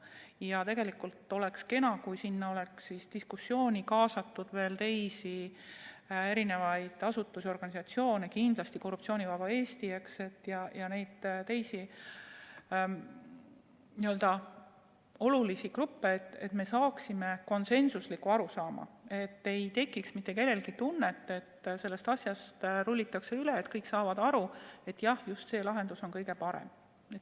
Ja tegelikult oleks kena, kui diskussiooni oleks kaasatud ka teisi asutusi, organisatsioone, kindlasti Korruptsioonivaba Eesti, ja teisi olulisi gruppe, et me saaksime konsensusliku arusaama – nii et mitte kellelgi ei tekiks tunnet, et sellest asjast rullitakse üle, ja et kõik saaksid aru, et jah, just see lahendus on kõige parem.